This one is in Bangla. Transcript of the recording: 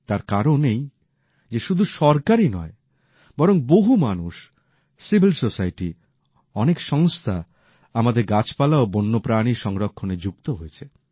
তার কারণ এই যে শুধু সরকারই নয় বরং বহু মানুষ সুশীল সমাজ অনেক সংস্থা আমাদের গাছপালা ও বন্যপ্রাণী সংরক্ষণে যুক্ত হয়েছে